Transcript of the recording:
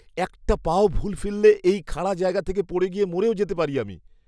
একটা পাও ভুল ফেললে এই খাড়া জায়গা থেকে পড়ে গিয়ে মরেও যেতে পারি আমি।